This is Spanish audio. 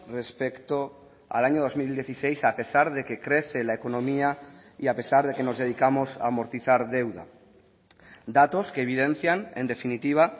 respecto al año dos mil dieciséis a pesar de que crece la economía y a pesar de que nos dedicamos a amortizar deuda datos que evidencian en definitiva